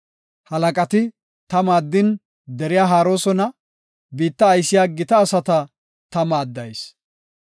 Halaqati ta maaddin deriya haaroosona; biitta aysiya gita asata ta maaddayis.